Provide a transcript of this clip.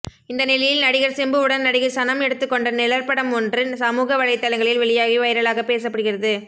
இந்த நிலையில் நடிகர் சிம்புவுடன் நடிகை சனம் எடுத்துக்கொண்ட நிழற்படம் ஒன்று சமூக வலைத்தளங்களில் வெளியாகி வைரலாக பேசப்படுகிறது